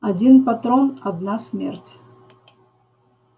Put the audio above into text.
один патрон одна смерть